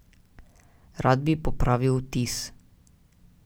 Rad bi popravil vtis.